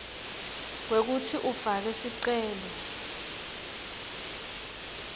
kwekutsi ufake sicelo